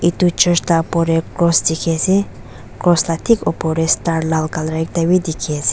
itu church la opor tey cross dikhiase cross la thik opor tey star lal color ekta wi dikhi ase--